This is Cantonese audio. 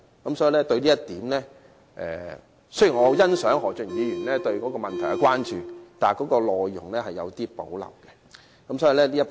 對於這一點，雖然我很欣賞何俊賢議員對這問題的關注，但我對其修正案的內容有所保留。